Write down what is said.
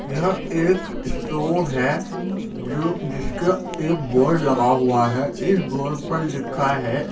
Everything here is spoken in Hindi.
यह एक स्टोर है जो जिसका एक बोर्ड लगा हुआ है इस बोर्ड पर लिखा है --